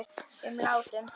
um látum.